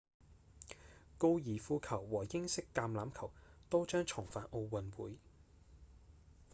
高爾夫球和英式橄欖球都將重返奧運會